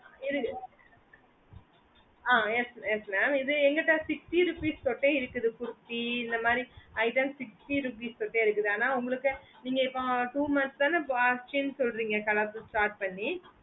இருக்கு ah yes yes mam இது என் கிட்ட sixty rupees ஓட இருக்கு kurti இந்த மாதிரி item sixty rupees ஓட இருக்கு அனா உங்களுக்கு நீங்க இப்போ two months தான அச்சினு சொல்லறீங்க கடை start பண்ணி